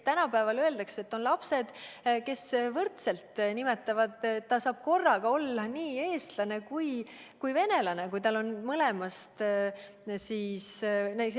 Tänapäeval on lapsed, kes ütlevad, et nad saavad korraga olla nii eestlased kui venelased, kui neil on mõlemast rahvusest vanemad.